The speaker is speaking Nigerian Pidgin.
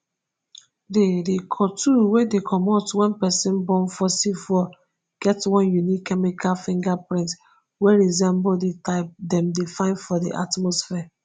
di di cotwo wey dey comot wen pesin burn fossil fuel get one unique chemical fingerprint wey resemble di type dem dey find for di atmosphere.